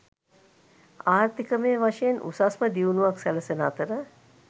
ආර්ථිකමය වශයෙන් උසස්ම දියුණුවක් සැලසෙන අතර